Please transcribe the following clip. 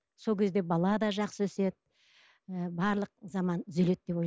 сол кезде бала да жақсы өседі і барлық заман түзеледі деп